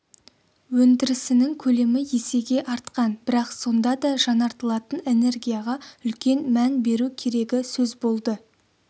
өндірісінің көлемі есеге артқан бірақ сонда да жаңартылатын энергияға үлкен мән беру керегі сөз болды